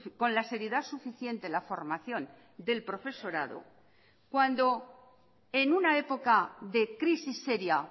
con la seriedad suficiente la formación del profesorado cuando en una época de crisis seria